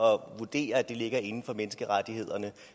vurdere at det ligger inden for menneskerettighederne